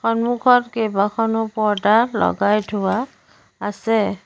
সন্মুখত কেইবাখনো পৰ্দা লগাই থোৱা আছে।